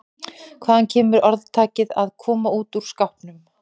Hvaðan kemur orðtakið að koma út úr skápnum?